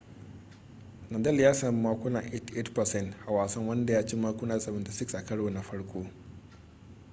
nadal ya sami makuna 88% a wasan wanda ya ci makuna 76 a karo na farko